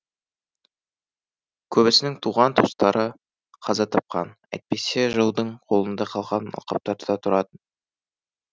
көбісінің туған туыстары қаза тапқан әйтпесе жаудың қолында қалған алқаптарда тұратын